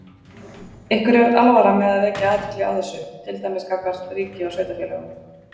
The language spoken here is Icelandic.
Ykkur er alvara með að vekja athygli á þessu, til dæmis gagnvart ríki og sveitarfélögum?